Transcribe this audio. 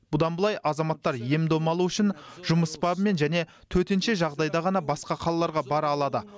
бұдан былай азаматтар ем дом алу үшін жұмыс бабымен және төтенше жағдайда ғана басқа қалаларға бара алады